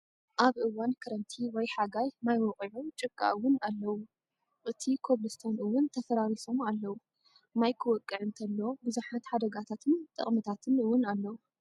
ኣብ እዋን ክረምቲ ወይ ሓጋይ ማይ ወቂዑ ጭቃ እውን ኣለውዎ። እቲ ኮብልቶን እውን ተፋራሪሱ ኣሎ። ማይ ክወቅዕ እንተሎ ብዙሓት ሓደጋታትን ጠቅምታት እውን ኣለው።